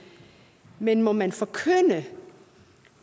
men må man forkynde